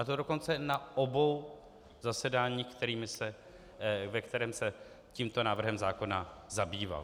A to dokonce na obou zasedáních, ve kterém se tímto návrhem zákona zabýval.